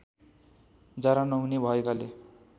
जरा नहुने भएकाले